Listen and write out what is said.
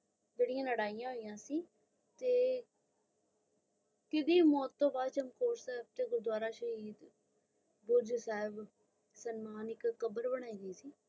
ਜੈਰਯੰ ਲੜਾਈਆਂ ਹੋਈਆਂ ਸੀ ਤੇ ਕਿੱਡੀ ਮੌਟ ਤੇ ਬਾਦ ਚਮਕੌਰ ਦਾ ਗੁਰਦਵਾਰਾ ਸ਼ਹੀਦ ਬੁਰਜ ਸ਼ਾਹਿਬ ਮਨੀ ਕ਼ਬਾਰ ਬਨਾਇ ਗਈ ਸੀ. ਹਾਂ ਜੀ ਮੇਂ ਦਾਸ ਦੇਂਦੀ ਆਂ